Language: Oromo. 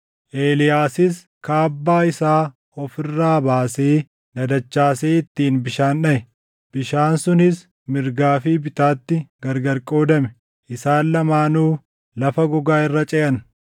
Eeliyaasis kaabbaa isaa of irraa baasee dadachaasee ittiin bishaan dhaʼe. Bishaan sunis mirgaa fi bitaatti gargar qoodame; isaan lamaanuu lafa gogaa irra ceʼan.